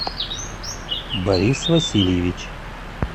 борис васильевич